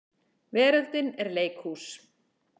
Veröldin er leikhús.